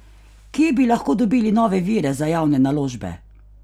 Kje bi lahko dobili nove vire za javne naložbe?